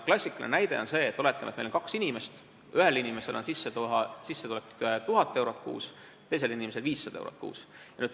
Klassikaline näide on see, et oletame, et meil on kaks inimest, ühel inimesel on sissetulek 1000 eurot kuus, teisel inimesel 500 eurot kuus.